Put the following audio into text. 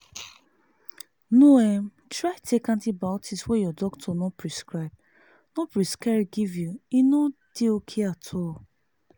no um try take antibiotic wey your doctor no prescribe no prescribe give you e no de okay at all